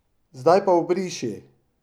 Zdaj pa obriši!